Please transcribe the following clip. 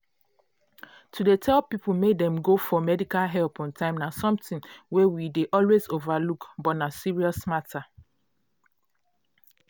to dey tell people make dem go find medical help on time na something wey we dey always overlook but na serious matter.